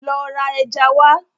Lọ ra ẹja wá.